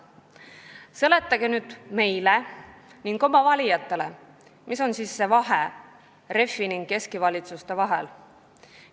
Seletage nüüd meile ning oma valijatele, mis vahe on siis Reformierakonna ja Keskerakonna valitsuse vahel!